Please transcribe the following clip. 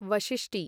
Vashishti